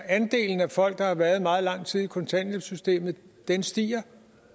andelen af folk der har været meget lang tid i kontanthjælpssystemet stiger